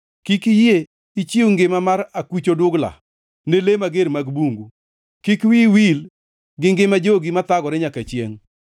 Kik iyie ichiw ngima mar akuch oduglani ne le mager mag bungu; kik wiyi wil gi ngima jogi mathagore nyaka chiengʼ.